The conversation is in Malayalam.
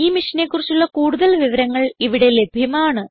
ഈ മിഷനെ കുറിച്ചുള്ള കുടുതൽ വിവരങ്ങൾ ഇവിടെ ലഭ്യമാണ്